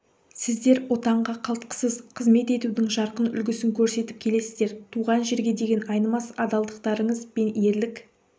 сіздер отанға қалтқысыз қызмет етудің жарқын үлгісін көрсетіп келесіздер туған жерге деген айнымас адалдықтарыңыз бен ерлік